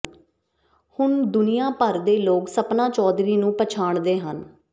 ਹੁਣ ਦੁਨਿਆਭਰ ਦੇ ਲੋਕ ਸਪਨਾ ਚੌਧਰੀ ਨੂੰ ਪਛਾਣਦੇ ਹਨ